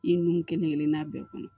I nun kelen kelenna bɛɛ kɔnɔ